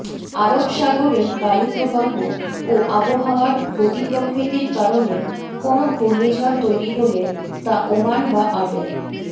আরব সাগরের বায়ুপ্রবাহ ও আবহাওয়ার গতিপ্রকৃতির কারণে কোনও ঘূর্ণিঝড় তৈরি হলে তা ওমান বা আডেন